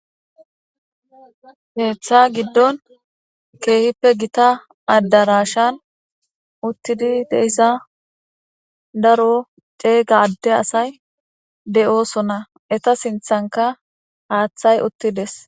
Keeththa giddon keehippe gita addarashan uttidi deyssa daro ceey gadde asay d7osona eta sinthanka haaththay uttides